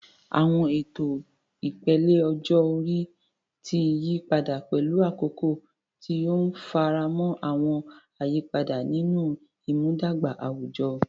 Àwọn ètò ìpele ọjọ́ orí ti yí padà pẹ̀lú àkókò, tí ó ń faramọ́ àwọn àyípadà nínú ìmúdàgba àwùjọ.